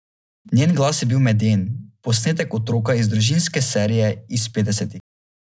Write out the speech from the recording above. Njen glas je bil meden, posnetek otroka iz družinske serije iz petdesetih.